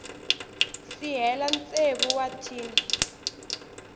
si hela tsevu wa tin